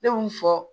Ne kun fɔ